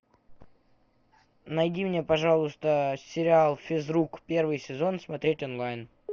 найди мне пожалуйста сериал физрук первый сезон смотреть онлайн